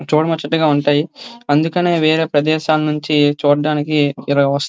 చూడముచ్చటగా ఉంటాయి అందుకే వేరే ప్రదేశాల నుండి చూడడానికి ఇలా.